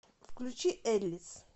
включи эллис